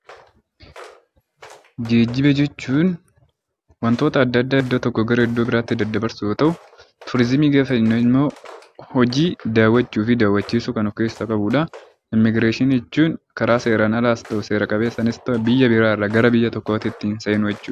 Geejjiba jechuun wantoota adda addaa iddoo tokkoo gara iddoo biratti dabarsuu yeroo ta'u turizimii gaafa jennummoo hojii daawwachuufi daawwachiisuu kan of keessaa qabudha. Imigireeshinii jechuun karaa seeraan alaas karaa seera qabeessaais ta'u biyya biraarra gara biyya biraatti ittiin seenuu jechuudha.